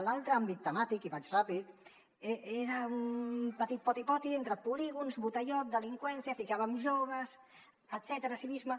l’altre àmbit temàtic i vaig ràpid eh era un petit poti poti entre polígons botellot delinqüència hi ficàvem joves etcètera civisme